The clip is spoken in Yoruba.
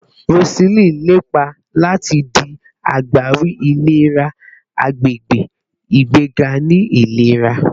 Roseline lepa lati di agbawi ilera agbegbe, igbega ni ilera